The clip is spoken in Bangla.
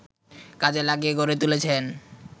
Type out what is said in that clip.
কাজে লাগিয়ে গড়ে তুলেছেন